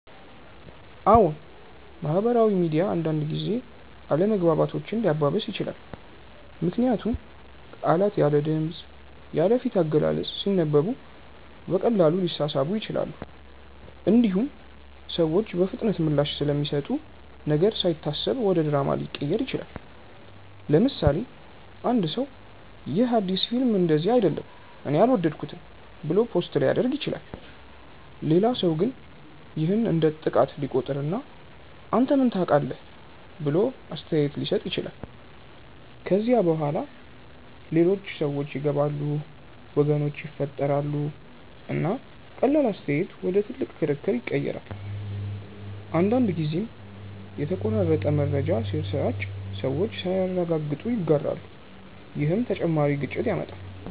አዎን፣ ማህበራዊ ሚዲያ አንዳንድ ጊዜ አለመግባባቶችን ሊያባብስ ይችላል። ምክንያቱም ቃላት ያለ ድምፅ፣ ያለ ፊት አገላለጽ ሲነበቡ በቀላሉ ሊሳሳቡ ይችላሉ። እንዲሁም ሰዎች በፍጥነት ምላሽ ስለሚሰጡ ነገር ሳይታሰብ ወደ ድራማ ሊቀየር ይችላል። ለምሳሌ፣ አንድ ሰው “ይህ አዲስ ፊልም እንደዚህ አይደለም እኔ አልወደድኩትም” ብሎ ፖስት ሊያደርግ ይችላል። ሌላ ሰው ግን ይህን እንደ ጥቃት ሊቆጥር እና “አንተ ምን ታውቃለህ?” ብሎ አስተያየት ሊሰጥ ይችላል። ከዚያ በኋላ ሌሎች ሰዎች ይገባሉ፣ ወገኖች ይፈጠራሉ፣ እና ቀላል አስተያየት ወደ ትልቅ ክርክር ይቀየራል። አንዳንድ ጊዜም የተቆራረጠ መረጃ ሲሰራጭ ሰዎች ሳያረጋግጡ ይጋራሉ፣ ይህም ተጨማሪ ግጭት ያመጣል።